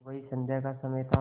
वही संध्या का समय था